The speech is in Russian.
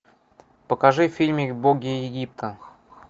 покажи фильмик боги египта